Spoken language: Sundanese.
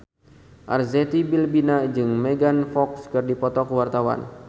Arzetti Bilbina jeung Megan Fox keur dipoto ku wartawan